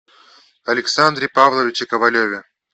александре павловиче ковалеве